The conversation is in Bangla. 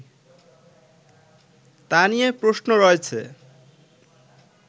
তা নিয়ে প্রশ্ন রয়েছে